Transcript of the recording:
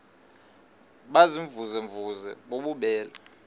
baziimvuze mvuze bububele